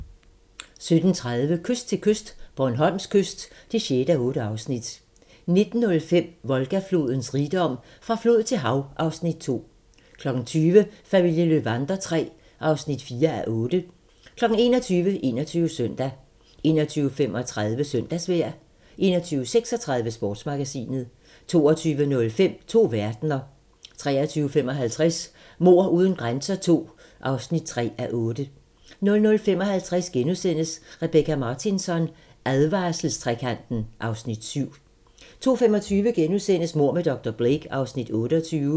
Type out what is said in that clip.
17:30: Kyst til kyst - Bornholms kyst (6:8) 19:05: Volga-flodens rigdom: Fra flod til hav (Afs. 2) 20:00: Familien Löwander III (4:8) 21:00: 21 Søndag 21:35: Søndagsvejr 21:36: Sportsmagasinet 22:05: To verdener 23:55: Mord uden grænser II (3:8) 00:55: Rebecka Martinsson: Advarselstrekanten (Afs. 7)* 02:25: Mord med dr. Blake (Afs. 28)*